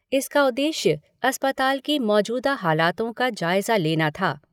इसका उद्देश्य अस्पताल की मौजूदा हालातों का जायज़ा लेना था।